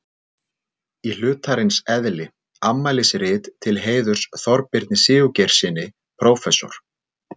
Í hlutarins eðli: Afmælisrit til heiðurs Þorbirni Sigurgeirssyni prófessor.